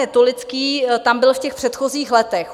Netolický tam byl v těch předchozích letech.